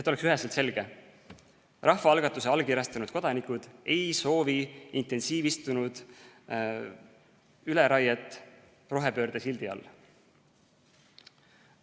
Et oleks üheselt selge: rahvaalgatuse allkirjastanud kodanikud ei soovi intensiivistunud üleraiet rohepöörde sildi all.